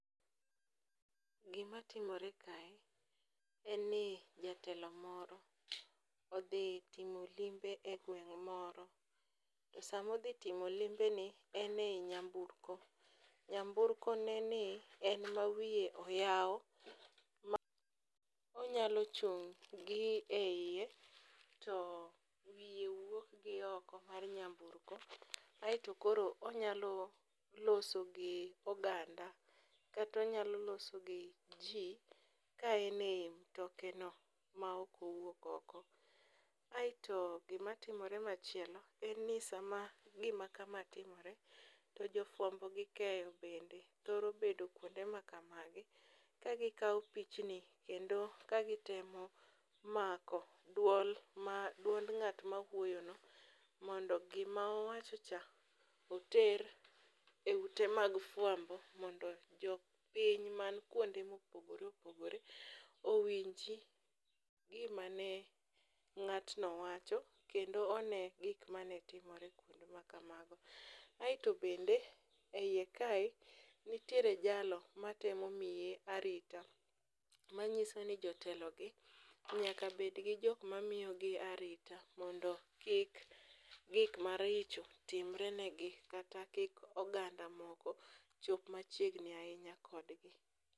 Gimatimore kae, en ni jatelo moro odhi timo limbe e gweng' moro, samodhi timo limbeni, en e nyamburko, nyamburko neni en ma wiye oyaw ma onyalo chung' gi eiye, to wiye wuok gi oko mar nyambukro ,aeto koro onyalo loso gi oganda kata onyalo loso gi ji ka en e i mtokeno, ma ok owuok oko. aeto gimatimore machielo en ni sama gima kama timore, to jofwambo gi keyo bende thoro bedo kwonde makamagi kagikawo pichni kendo kagitemo mako duond ng'at mawuoyono, mondo gima owachocha oter e ute mag fwambo mondo jopiny man kwonde mopogore opogore owinji gima ne ng'atno wacho kendso one gik mane timore kwonde makamago. Aeto bende e iye kae, nitiere jalo matemo miye arita, manyiso ni jotelogi nyaka bedgi jok mamiyogi arita mondo kik gik maricho timre negi kata kik oganda moko chop machiegni ahinya kodgi.